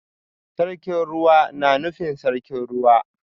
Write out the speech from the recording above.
Sarkin Ruwa na nufin Sarkin Ruwa